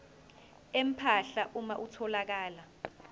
empahla uma kutholakala